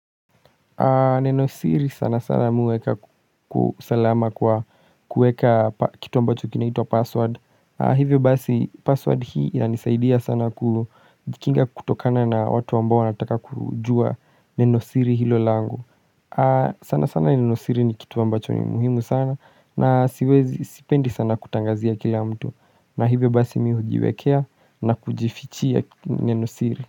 Neno siri sana sana mimi hueka usalama kwa kueka kitu ambacho kinaitwa password Hivyo basi password hii inanisaidia sana kujikinga kutokana na watu ambao wanataka kujua nenosiri hilo lango sana sana nenosiri ni kitu ambacho ni muhimu sana na sipendi sana kutangazia kila mtu na hivyo basi mimi hujiwekea na kujifichia nenosiri.